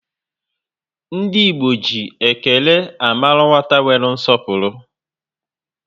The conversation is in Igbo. Ndi Igbo ji ékélé amaru nwata nwere nsọpụrụ